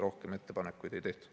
Rohkem ettepanekuid ei tehtud.